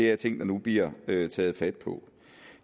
er ting der nu bliver taget fat på